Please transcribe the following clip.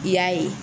I y'a ye